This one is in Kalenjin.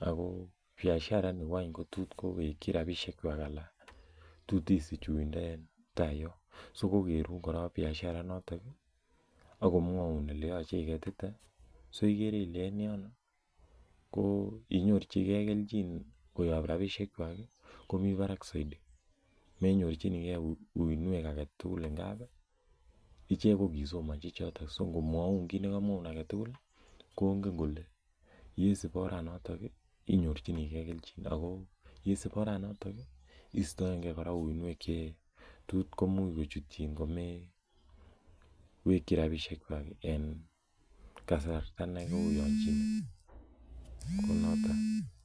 ako biashara initoon ko tos kowekyii rapisheek kwaak anan tos issich yundaa en taa Yoon ak komwaun ele tos igete so igere Ile en yono inyorjigei keljin koyaab rapisheek kwaak komii Barak Zaidi menyorjinigei uinwek zaidi ngap ii icheek ko kikosomanjii chotoon ko ingomwaun kongeen kole ye suup oret notoog inyorjinikei keljiin ako yeistaen gei oret notooñ istaengei uinwek ko imuuch ko chutyiin ko me wekyii rapisheek kwaak eng kasarta nekoyanjine.